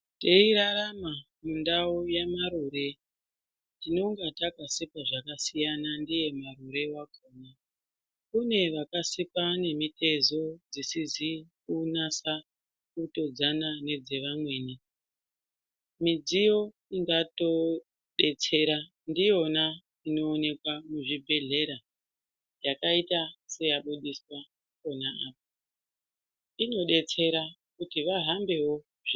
Teirarama mundau yamarure, tinonga takasikwa zvakasiyana ndiye marure wakona. Kune vaksika nemitezo dzisizi kunatsa kutodzana nedzevamweni midziyo ingatodetsera ndiyona inooneka muzvibhehlera yakaita seyabudiswa pona apa , inodetsera kuti vahambewo........